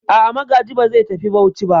A'a, Magaji ba zai tafi Bauchi ba.